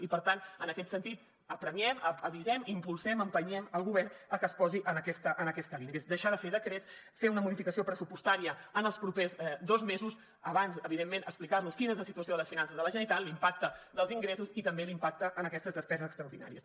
i per tant en aquest sentit apressem avisem i impulsem empenyem el govern a que es posi en aquesta línia que és deixar de fer decrets fer una modificació pressupostària en els propers dos mesos abans evidentment explicarnos quina és la situació de les finances de la generalitat l’impacte dels ingressos i també l’impacte en aquestes despeses extraordinàries